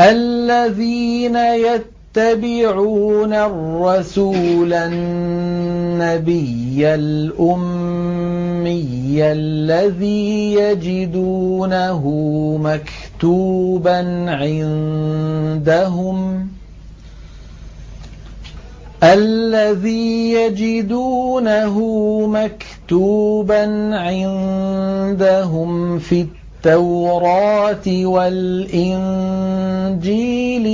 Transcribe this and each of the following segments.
الَّذِينَ يَتَّبِعُونَ الرَّسُولَ النَّبِيَّ الْأُمِّيَّ الَّذِي يَجِدُونَهُ مَكْتُوبًا عِندَهُمْ فِي التَّوْرَاةِ وَالْإِنجِيلِ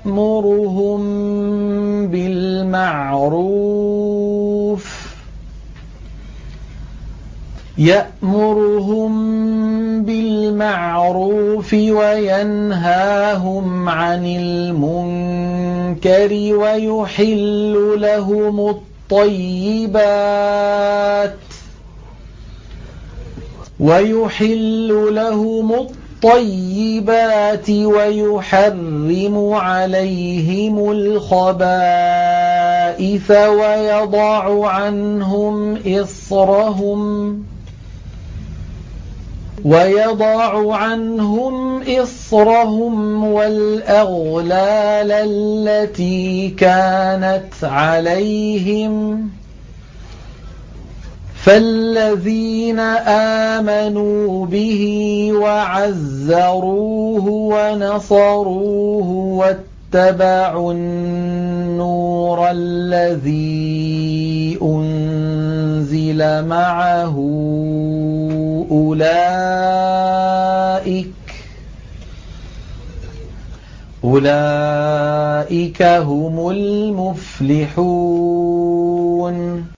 يَأْمُرُهُم بِالْمَعْرُوفِ وَيَنْهَاهُمْ عَنِ الْمُنكَرِ وَيُحِلُّ لَهُمُ الطَّيِّبَاتِ وَيُحَرِّمُ عَلَيْهِمُ الْخَبَائِثَ وَيَضَعُ عَنْهُمْ إِصْرَهُمْ وَالْأَغْلَالَ الَّتِي كَانَتْ عَلَيْهِمْ ۚ فَالَّذِينَ آمَنُوا بِهِ وَعَزَّرُوهُ وَنَصَرُوهُ وَاتَّبَعُوا النُّورَ الَّذِي أُنزِلَ مَعَهُ ۙ أُولَٰئِكَ هُمُ الْمُفْلِحُونَ